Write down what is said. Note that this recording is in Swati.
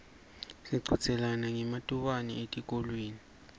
sichudzelana ngematubane etikolweni